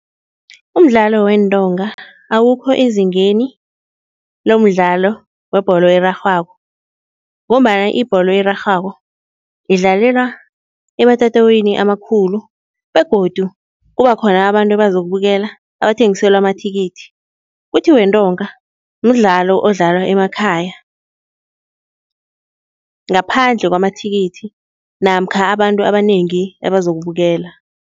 Umdlalo weentonga awukho ezingeni lomdlalo webholo erarhwako ngombana ibholo erarhwako idlalelwa ematatawini amakhulu begodu kuba khona abantu abazokubukela abathengiselwa amathikithi. Kuthi wentonga, mdlalo odlalwa emakhaya, ngaphandle kwamathikithi namkha abantu abanengi abazokubukela.